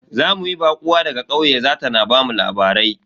Za mu yi baƙuwa daga ƙauye za ta na bamu labarai.